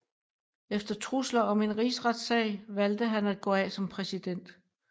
Efter trusler om en rigsretssag valgte han at gå af som præsident